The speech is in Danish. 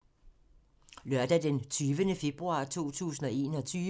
Lørdag d. 20. februar 2021